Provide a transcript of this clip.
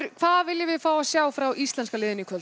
hvað viljum við sjá frá íslenska liðinu í kvöld